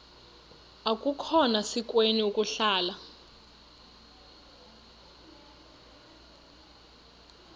akukhona sikweni ukuhlala